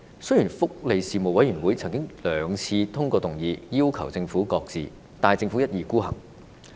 雖然福利事務委員會曾經兩次通過議案，要求政府擱置，但政府一意孤行。